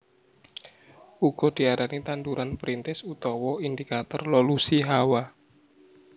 Uga diarani tanduran perintis utawa indikator lolusi hawa